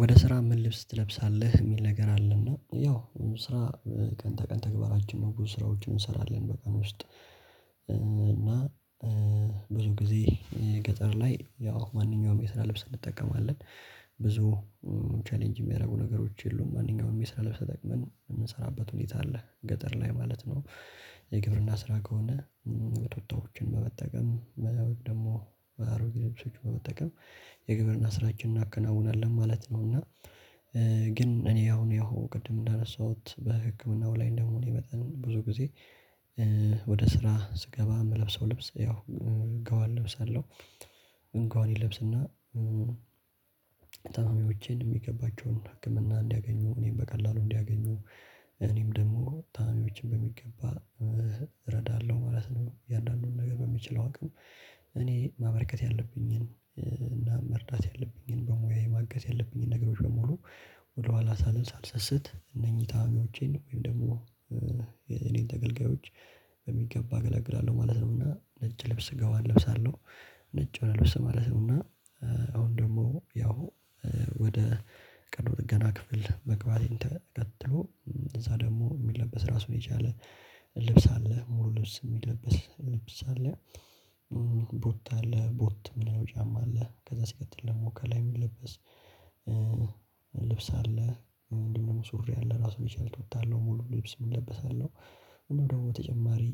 ወደ ስራ ምን ልብስ ትለብሳለህ የሚል ነገር አለና ያው ስራ ቀን ተቀን ተግባራችን ነው ብዙ ስራዎችን እንሰራለን በቀን ውስጥ። እና ብዙ ጊዜ ገጠር ላይ ያው ማንኛውም የስራ ልብስ እንጠቀማለን። ብዙ ቻሌንጅ የሚያደርጉ ነገሮች የሉም ማንኛውም የስራ ልብስ ተጠቅመን የምንሰራበት ሁኔታ አለ ገጠር ላይ ማለት ነው። የግብርና ስራ ከሆነ ቱታዎችን በመጠቀም ደግሞ አሮጌ ልብሶች በመጠቀም የግብርና ስራችን እናከናውናለን ማለት ነው። እና ግን እኔ አሁን ያው ቅድም እንዳነሳሁት በህክምናው ላይ እንደመሆኔ መጠን ብዙ ጊዜ ወደ ስራ ስገባ የምለብሰው ልብስ ያው ጋዋን ለብሳለሁ። ጋወኔን እለብስና ታማሚዎቼን የሚገባቸውን ህክምና እንዲያገኙ እኔን በቀላሉ እንዲያገኙ እኔም ደግሞ ታማሜዎችን በሚገባ እረዳለሁ ማለት ነው። እያንዳንዱን ነገር በምችለው አቅም እኔ ማበርከት ያለብኝን እና መርዳት ያለብኝን በሙያ ማገዝ ያለብኝን ነገሮች በሙሉ ወደኋላ ሳልሰስት እነኚህ ታማሚዎቼን ወይም ደግሞ የኔን ተገልጋዮች በሚገባ አገለግላለሁ ማለት ነውና ነጭ ልብስ ጋዋን እለብሳለሁ። ነጭ የሆነ ልብስ ማለት ነውና እና አሁን ደግሞ ያው ወደ ቀዶ ጥገና ክፍል መግባቴን ተከትሎ እዛ ደግሞ የሚለበስ ራሱ የቻለ ልብስ አለ ሙሉ ልብስ የሚለበስ ልብስ አለ። ቦት አለ ቦት የምንለው ጫማ አለ ከዛ ሲቀጥል ደግሞ ከላይ የሚለበስ ልብስ አለ። እንዲሁም ደግሞ ሱሪ አለ ራሱን የቻለ ቱታ አለው ሙሉ ልብስ የሚለበስ አለው። እና ደግሞ በተጨማሪ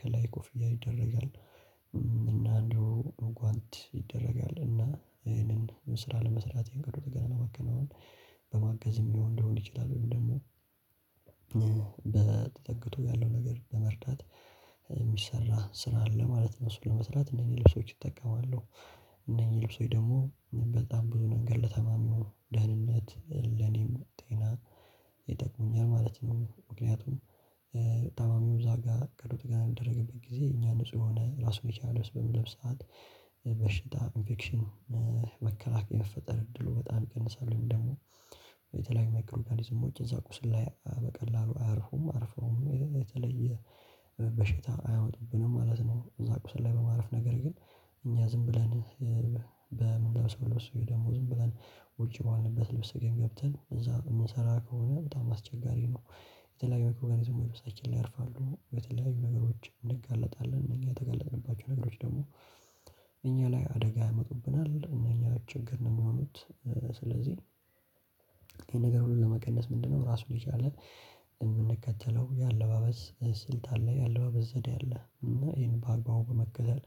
ከላይ ኮፍያ ይደረጋል እና እንዲሁ ጓንት ይደረጋል እና ይሄንን ስራ ለመስራት የቀዶ ጥገና ለማከናወን። በማገዝም የሚሆን ሊሆን ይችላል ወይም ደግሞ በ ተጠግቶ ያለው ነገር ለመርዳት የሚሰራ ስራ አለ ማለት ነው። እሱን ለመስራት እነኚህ ልብሶች እጠቀማለሁ እነኚህ ልብሶች ደግሞ በጣም ብዙ ነገር ለታማሚው ደህንነት ለኔም ጤና ይጠቅሙኛል ማለት ነው። ምክንያቱም ታማሚው እዛ ጋር ቀዶ ጥገና በሚደረግበት ጊዜ እኛ ንጹህ የሆነ ራሱን የቻለ ልብስ በምንለብስ ሰዓት በሽታ ኢንፌክሽን መከላከያ የመፈጠር እድሉ በጣም ይቀንሳል። ወይም ደግሞ የተለያዩ ማይክሮ ኦርጋኒዝሞች እዛ ቁስል ላይ በቀላሉ አያርፉም አርፈውም የተለየ በሽታ አያወጡብንም ማለት ነው። እዛ ቁስል ላይ በማረፍ ነገር ግን እኛ ዝም ብለን በምንለብሰው ልብስ ወይ ደሞ ዝም ብለን ውጪ በዋልንበት ልብስ ገብተን እዛ የምንሰራ ከሆነ በጣም አስቸጋሪ ነው። የተለያዩ ማይክሮ ኦርጋኒዝም ልብሳችን ላይ ያርፋሉ ለተለያዩ ነገሮች እንጋለጣለን እኛ የተጋለጥንባቸው ነገሮች ደግሞ እኛ ላይ አደጋ ያመጡብናል እነኛ ችግር ነው የሚሆኑት። ስለዚህ ይሄን ነገር ሁሉ ለመቀነስ ምንድነው? ራሱን የቻለ የምንከተለው የአለባበስ ስልት አለ የአለባበስ ዘዴ አለ እና ይሄን በአግባቡ በመከተል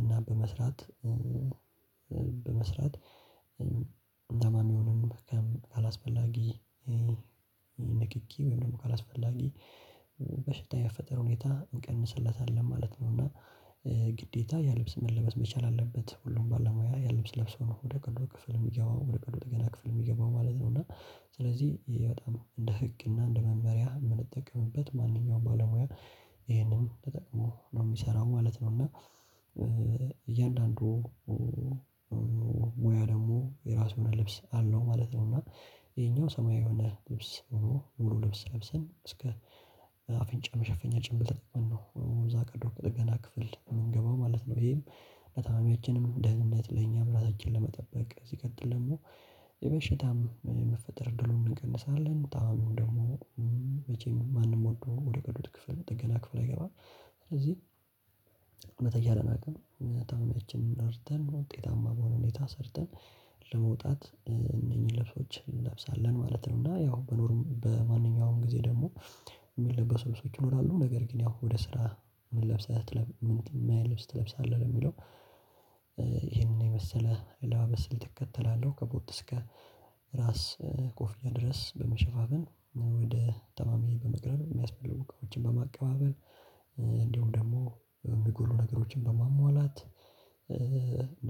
እና በመስራት በመስራት ታማሚውንም ካላስፈላጊ ንኪኪ ወይም ደግሞ ካላስፈላጊ በሽታ የመፈጠር ሁኔታ ይቀንስለታል ለማለት ነው። እና ግዴታ ያ ልብስ መለበስ መቻል አለበት ሁሉም ባለሙያ ያልብስ ለብሶ ነው ወደ ቀዶ ክፍል የሚገባው ወደ ቀዶ ጥገና ክፍል የሚገባው ማለት ነው። እና ስለዚህ ይሄ በጣም እንደ ህግ እና እንደ መመሪያ የምንጠቀምበት ማንኛውም ባለሙያ ይሄንን ተጠቅሞ ነው የሚሰራው ማለት ነው። እና እያንዳንዱ ሙያ ደግሞ የራሱ የሆነ ልብስ አለው ማለት ነው። እና ይሄኛው ሰማያዊ የሆነ ልብስ ሆኖ ሙሉ ልብስ ለብሰን እስከ አፍንጫ መሸፈኛ ጭምብል ተጠቅመን ነው እዛ ቀዶ ጥገና ክፍል የምንገባው ማለት ነው። ይሄም ለታማሚያችንም ደህንነት ለኛም ራሳችንን ለመጠበቅ ሲቀጥል ደግሞ የበሽታም የመፈጠር እድሉን እንቀንሳለን ጣእሙም ደግሞ መቼም ማንም ወዶ ወደ ቀዶ ጥገና ክፍል አይገባም። ስለዚህ በተቻለን አቅም ታማሚያችንን ረድተን ውጤታማ በሆነ ሁኔታ ሰርተን ለመውጣት እነኚህን ልብሶች እንለብሳለን ማለት ነው። እና ያው በኖርም በማንኛውም ጊዜ ደግሞ የሚለበሱ ልብሶች ይኖራሉ ነገር ግን ያው ወደ ስራ ምን ለብሰህ ምን አይነት ልብስ ትለብሳለህ? ለሚለው ይሄንን የመሰለ አለባበስ እከተላለሁ ከኮት እስከ ራስ ኮፍያ ድረስ በመሸፋፍን ወደ ተማሚ በመቅረብ የሚያስፈልጉ እቃዎችን በማቀባበል እንዲሁም ደግሞ ሚጎሉ ነገሮችን በማሟላት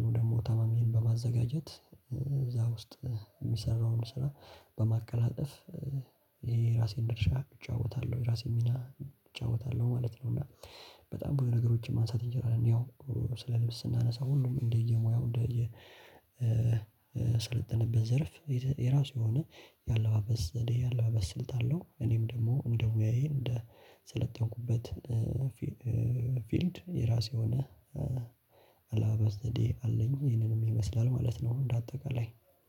እንዲሁም ታማሚዬን በማዘጋጀት እዛ ውስጥ የሚሰራውን ስራ በማቀላጠፍ የራሴን ድርሻ እጫወታለሁ የራሴን ሚና እጫወታለሁ ማለት ነው። እና በጣም ብዙ ነገሮችን ማንሳት እንችላለን ያው ስለ ልብስ ስናነሳ ሁሉም እንደየሙያው እንደየ ስለጠነበት ዘርፍ የራሱ የሆነ ያለባበስ ዘዴ ያለባበስ ስልት አለው። እኔም ደግሞ እንደ ሞያዬ እንደሰለጠንኩበት ፊልድ የራሴ ሆነ አለባበስ ዘዴ አለኝ ይሄንንም ይመስላል ማለት ነው። እንደ አጠቃላይ